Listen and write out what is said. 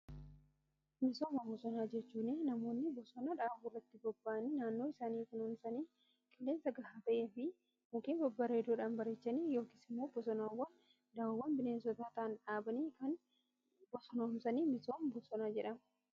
Misooma bosonaa jechuun namoonni bosona dhaabuurratti bobba'aanii naannoo isaanii misoomsanii qileensa gahaa ta'e fi mukkeen babbareedoodhaan bareechanii yookiin immoo bosonaawwan dawoo bineensotaa ta'aan dhaabanii kan bosonoomsan misooma bosonaa jedhama.